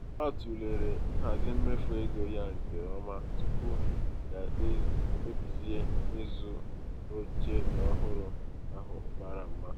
ọ tụlere nhazi mmefu ego ya nke ọma tupu ya ekpebizie ịzụ oche ọhụrụ ahụ mara mma.